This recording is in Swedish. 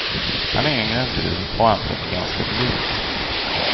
Han är yngre än du, och antagligen ganska blyg.